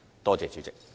多謝主席。